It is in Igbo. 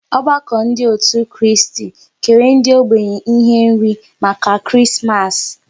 Ọgbakọ ndị otu Kristi kere ndị ógbènye ihe nri maka Krismas